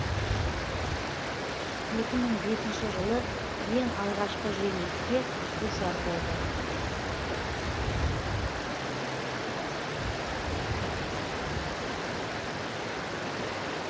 екі мың бесінші жылы ең алғашқы жеңіліске душар болды